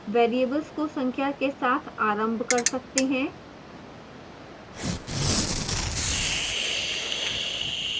variables को संख्या के साथ आरंभ कर सकते हैं